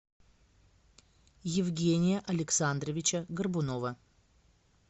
евгения александровича горбунова